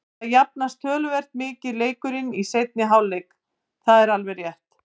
Það jafnaðist töluvert mikið leikurinn í seinni hálfleik, það er alveg rétt.